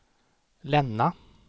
Länna